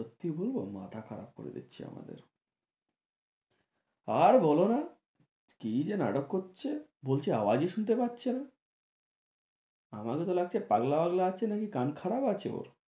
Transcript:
সত্যি বলবো মাথা খারাপ করে দিচ্ছে আমাদের আর বোলো না কি যে নাটক করছে বলছে আওয়াজই শুনতে পাচ্ছে না আমাকে তো লাগছে পাগলা বাগলা আছে নাকি কান খারাপ আছে ওর